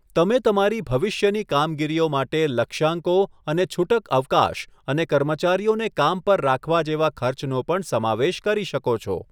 તમે તમારી ભવિષ્યની કામગીરીઓ માટે લક્ષ્યાંકો અને છૂટક અવકાશ અને કર્મચારીઓને કામ પર રાખવા જેવા ખર્ચનો પણ સમાવેશ કરી શકો છો.